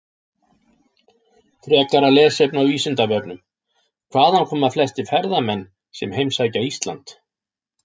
Frekara lesefni á Vísindavefnum: Hvaðan koma flestir ferðamenn sem heimsækja Ísland?